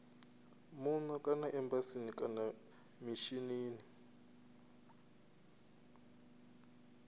muno kana embasini kana mishinini